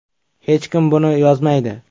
Hech kim buni yozmaydi.